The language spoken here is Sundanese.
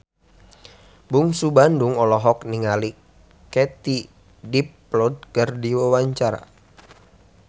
Bungsu Bandung olohok ningali Katie Dippold keur diwawancara